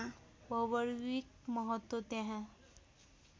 भौगर्भिक महत्त्व त्यहाँ